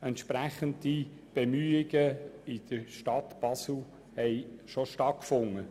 Entsprechende Bemühungen in der Stadt Basel haben bereits stattgefunden.